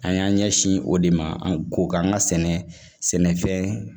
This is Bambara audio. An y'an ɲɛsin o de ma an ko k'an ka sɛnɛfɛn